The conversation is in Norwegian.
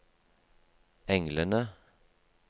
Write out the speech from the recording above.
englene